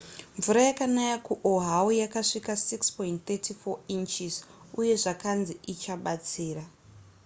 mvura yakanaya kuoahu yakasvika 6.34 inches uye zvakanzi ichabatsira